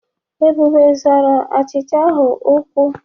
Ebube zorọ ochicha ahụ ụkwụ.